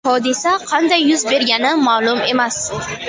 Hodisa qanday yuz bergani ma’lum emas.